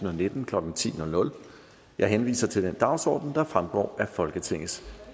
og nitten klokken ti jeg henviser til den dagsorden der fremgår af folketingets